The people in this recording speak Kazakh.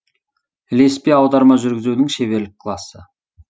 ілеспе аударма жүргізудің шеберлік классы